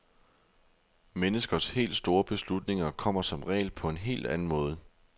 Menneskers helt store beslutninger kommer som regel på en helt anden måde.